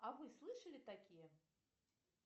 а вы слышали такие